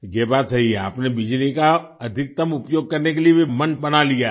ये बात सही है आपने बिजली का अधिकतम उपयोग करने के लिए भी मन बना लिया है